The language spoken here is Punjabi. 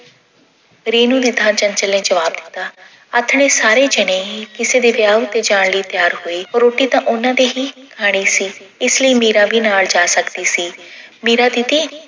ਰੇਨੂੰ ਦੀ ਥਾਂ ਚੰਚਲ ਨੇ ਜਵਾਬ ਦਿੱਤਾ। ਆਥਣੇ ਸਾਰੇ ਜਣੇ ਕਿਸੇ ਦੇ ਵਿਆਹ ਉੱਤੇ ਜਾਣ ਲਈ ਤਿਆਰ ਹੋਏ ਰੋਟੀ ਤਾਂ ਉਹਨਾਂ ਦੇ ਹੀ ਖਾਣੀ ਸੀ ਇਸ ਲਈ ਮੀਰਾ ਵੀ ਨਾਲ ਜਾ ਸਕਦੀ ਸੀ। ਮੀਰਾ ਦੀਦੀ